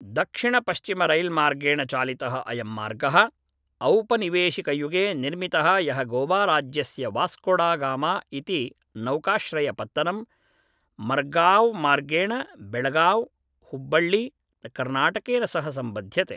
दक्षिणपश्चिमरैल्मार्गेण चालितः अयं मार्गः औपनिवेशिकयुगे निर्मितः यः गोवाराज्यस्य वास्कोडगामा इति नौकाश्रयपत्तनम् मर्गाव्मार्गेण बेळगाव् हुब्बळ्ळि कर्नाटकेन सह सम्बध्यते